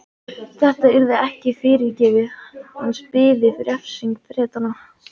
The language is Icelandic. Þetta yrði ekki fyrirgefið, hans biði refsing Bretanna.